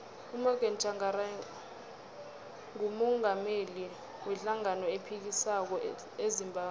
umorgan tshangari ngumungameli we hlangano ephikisako ezimbabwe